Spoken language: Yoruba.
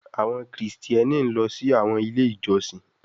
Àwọn Kristiani ló sì àwọn ilé ìjósìn.